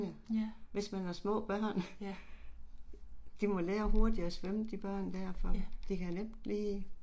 Ja, ja. Ja